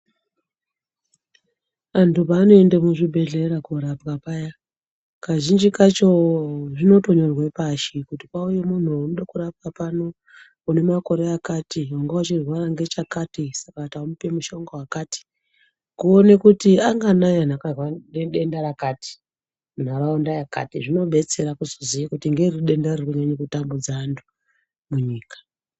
Antu paanoenda muzvibhedhlera korapwa paya kazhinji kacho zvinotonyorwa pashi kuti pauye muntu waida kurapwa pano une makore akati wanga uchirwara ngechakati saka tamupa mushonga wakati kuone kuti anganai akarwara ngedenda rakati nharaunda yakati zvinobetsera kuziya kuti ngeripi denda riri kunyanye kutambudza antu munyika